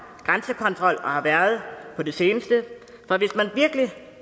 grænsekontrol på det seneste for hvis man virkelig